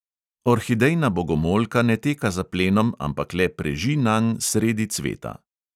Orhidejna bogomolka ne teka za plenom, ampak le preži nanj sredi cveta.